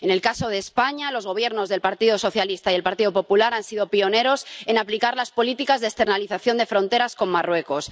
En el caso de España, los gobiernos del Partido Socialista y el Partido Popular han sido pioneros en aplicar las políticas de externalización de fronteras en Marruecos.